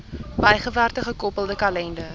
bygewerkte gekoppelde kalender